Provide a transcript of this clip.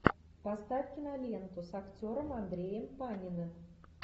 поставь киноленту с актером андреем паниным